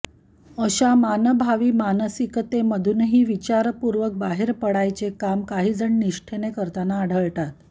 अशा मानभावी मानसिकतेमधूनही विचारपूर्वक बाहेर पडायचे काम काहीजण निष्ठेने करताना आढळतात